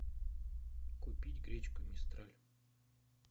купить гречку мистраль